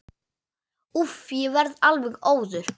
Úff, ég verð alveg óður.